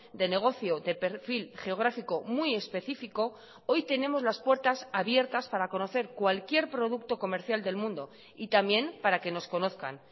de negocio de perfil geográfico muy específico hoy tenemos las puertas abiertas para conocer cualquier producto comercial del mundo y también para que nos conozcan